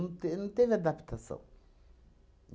Não te não teve adaptação.